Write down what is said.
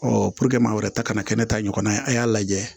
maa wɛrɛ ta kana kɛ ne ta ɲɔgɔnna ye a y'a lajɛ